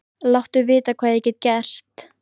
Láttu vita hvað ég get gert.